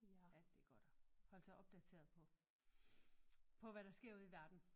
Rigtig godt at hold sig opdateret på på hvad der sker ude i verden